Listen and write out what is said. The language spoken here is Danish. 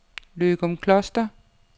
Løgumkloster